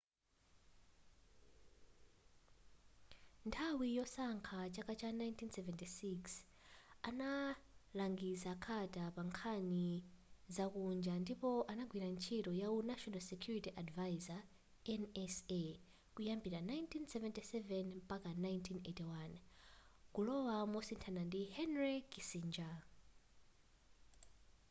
nthawi yosankha chaka cha 1976 analangiza carter pankhani zakunja ndipo anagwira ntchito yawu national security advisor nsa kuyambira 1977 mpaka 1981 kulowa mosithana ndi henry kissinger